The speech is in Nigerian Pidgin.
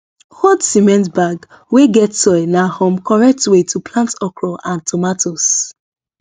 old cement bag wey get soil na um correct way to plant okra and tomatoes